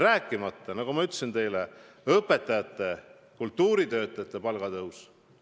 Rääkimata, nagu ma ütlesin teile, õpetajate ja kultuuritöötajate palga tõusust.